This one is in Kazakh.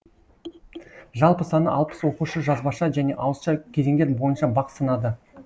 жалпы саны алпыс оқушы жазбаша және ауызша кезеңдер бойынша бақ сынады